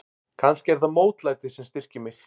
Kannski er það mótlætið sem styrkir mig.